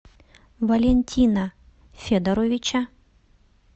валентина федоровича